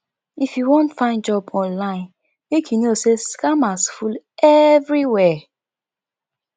if you wan find job online make you know sey scammers full everywhere